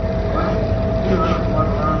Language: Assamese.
কি হয় ন তোমাৰ ধৰা